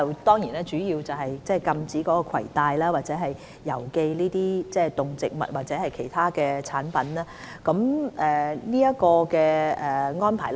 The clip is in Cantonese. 現時我們主要是針對禁止攜帶或郵寄動植物或其他產品的安排。